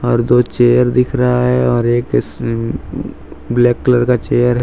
दो चेयर दिख रहा है और एक ब्लैक कलर का चेयर है।